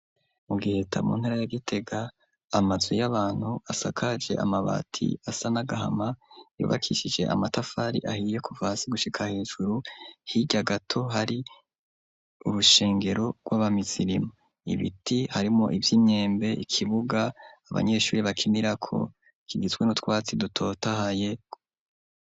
Mu Giheta mu ntara ya Gitega amazi y'abantu asakaje amabati asa n'agahama yubakishije amatafari ahiye kuva hasi gushika hejuru hirya gato hari urushengero rw'abamizirima, ibiti harimo ivy'imyembe ikibuga abanyeshuri bakinirako kigitswe n'utwatsi dutotahaye